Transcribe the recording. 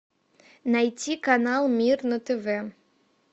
найти канал мир на тв